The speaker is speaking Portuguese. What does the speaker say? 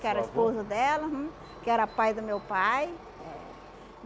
Que era esposo dela, uhum, que era pai do meu pai.